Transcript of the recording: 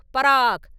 பராக்!